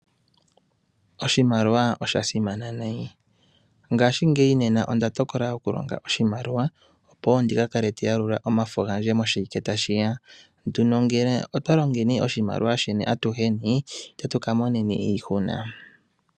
Oshimaliwa osha simana nayi. Ngaashingeyi nena onda tokola okulonga oshimaliwa, opo wo ndika kale te yalula omafo gandje moshiwike tashi ya. Nduno ngele otwa longeni oshimaliwa shino atuheni, itatu ka moneni iihuna.